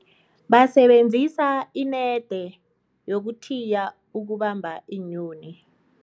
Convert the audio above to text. Basebenzisa inede yokuthiya ukubamba iinyoni.